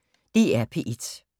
DR P1